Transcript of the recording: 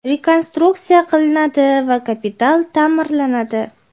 rekonstruksiya qilinadi va kapital taʼmirlanadi.